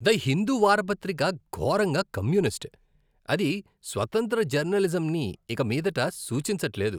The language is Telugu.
ద హిందూ వార్తాపత్రిక ఘోరంగా కమ్యూనిస్ట్, అది స్వతంత్ర జర్నలిజంని ఇక మీదట సూచించట్లేదు.